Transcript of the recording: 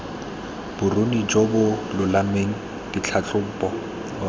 boruni jo bo lolameng ditlhatlhobo